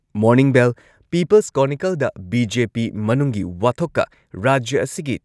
morning bell peoples ꯀ꯭ꯔꯣꯅꯤꯀꯜꯗ BJP ꯃꯅꯨꯡꯒꯤ ꯋꯥꯊꯣꯛꯀ ꯔꯥꯖ꯭ꯌ ꯑꯁꯤꯒꯤ